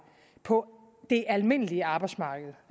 på det almindelige arbejdsmarked